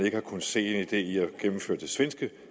ikke har kunnet se en idé i at gennemføre den svenske